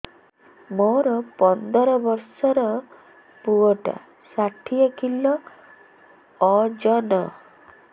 ମୋର ପନ୍ଦର ଵର୍ଷର ପୁଅ ଟା ଷାଠିଏ କିଲୋ ଅଜନ